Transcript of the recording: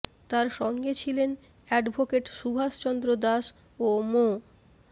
তার সঙ্গে ছিলেন অ্যাডভোকেট সুভাষ চন্দ্র দাস ও মো